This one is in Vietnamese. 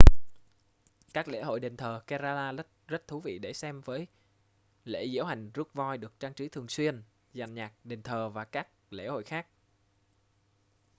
các lễ hội đền thờ kerala rất thú vị để xem với lễ diễu hành rước voi được trang trí thường xuyên dàn nhạc đền thờ và các lễ hội khác